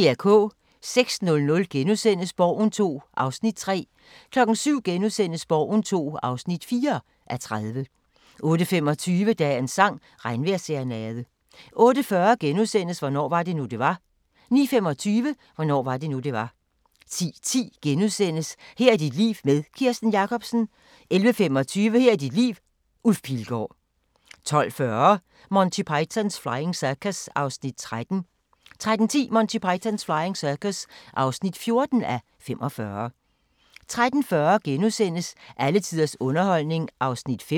06:00: Borgen II (3:30)* 07:00: Borgen II (4:30)* 08:25: Dagens sang: Regnvejrsserenade 08:40: Hvornår var det nu, det var? * 09:25: Hvornår var det nu, det var? 10:10: Her er dit liv med Kirsten Jakobsen * 11:25: Her er dit liv – Ulf Pilgaard 12:40: Monty Python's Flying Circus (13:45) 13:10: Monty Python's Flying Circus (14:45) 13:40: Alle tiders underholdning (5:8)*